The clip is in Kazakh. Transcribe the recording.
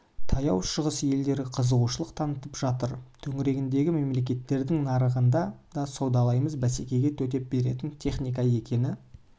таяу шығыс елдері қызығушылық танытып жатыр төңірегіндегі мемлекеттердің нарығында да саудалаймыз бәсекеге төтеп беретін техника екені